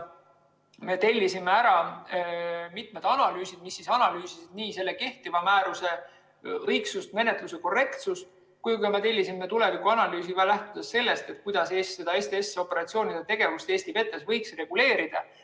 Me tellisime mitmed analüüsid, mis analüüsisid kehtiva määruse õigsust ja menetluse korrektsust, ning tellisime tuleviku analüüsi, lähtudes sellest, kuidas STS‑operatsioonide tegevust Eesti vetes võiks reguleerida.